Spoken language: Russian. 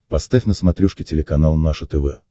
поставь на смотрешке телеканал наше тв